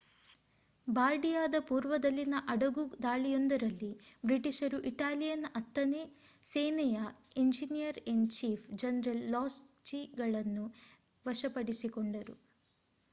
ಬಾರ್ಡಿಯಾದ ಪೂರ್ವದಲ್ಲಿನ ಅಡಗುದಾಳಿಯೊಂದರಲ್ಲಿ ಬ್ರಿಟಿಷರು ಇಟಾಲಿಯನ್ ಹತ್ತನೇ ಸೇನೆಯ ಎಂಜಿನಿಯರ್-ಇನ್-ಚೀಫ್ ಜನರಲ್ ಲಾಸ್ಟುಚಿಯನ್ನು ವಶಪಡಿಸಿಕೊಂಡರು